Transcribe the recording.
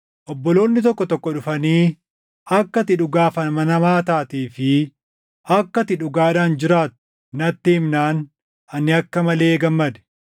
Obboloonni tokko tokko dhufanii akka ati dhugaaf amanamaa taatee fi akka ati dhugaadhaan jiraattu natti himnaan ani akka malee gammade.